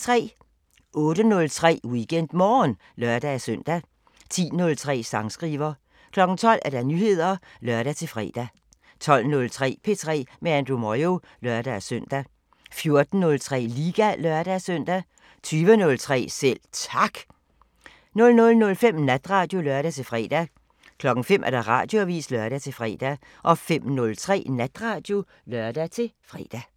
08:03: WeekendMorgen (lør-søn) 10:03: Sangskriver 12:00: Nyheder (lør-fre) 12:03: P3 med Andrew Moyo (lør-søn) 14:03: Liga (lør-søn) 20:03: Selv Tak 00:05: Natradio (lør-fre) 05:00: Radioavisen (lør-fre) 05:03: Natradio (lør-fre)